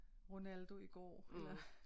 Ronaldo i går eller